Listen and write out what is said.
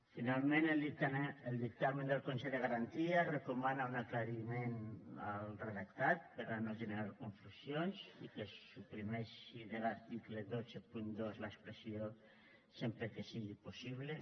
finalment el dictamen del consell de garanties recomana un aclariment al redactat per a no generar confusions i que es suprimeixi de l’article cent i vint dos l’expressió sempre que sigui possible